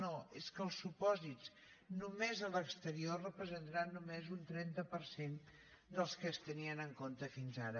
no és que els supòsits només a l’exterior representaran només un trenta per cent dels que es tenien en compte fins ara